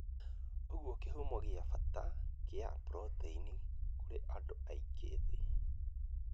ũguo kĩhumo gĩa bata kĩa proteini kũrĩ andũ aingĩ thĩ.